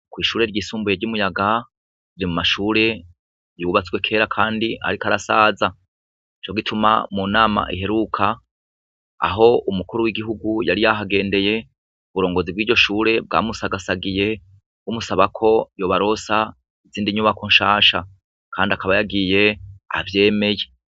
Kw'ishure ryisumbuye ry'i Muyaga, riri mu mashure yubatswe kera kandi ariko arasaza. Nico gituma mu nama iheruka, aho umukuru w'igihugu yari yahagendeye, uburongozi bw'iryo shure bwamusagasagiye bumusaba ko yobaronsa izindi nyubako nshasha. Kandi akaba yagiye avyemeye.